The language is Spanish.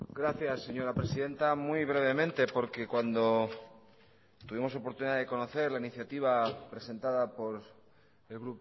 gracias señora presidenta muy brevemente porque cuando tuvimos la oportunidad de conocer la iniciativa presentada por el